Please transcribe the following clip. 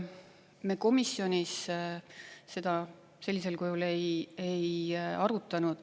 Me komisjonis seda sellisel kujul ei arutanud.